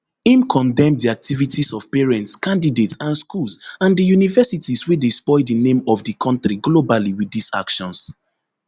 im condemn di activities of parents candidates and schools and di universities wey dey spoil di name of di kontri globally wit dis actions